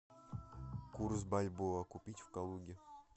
курс бальбоа купить в калуге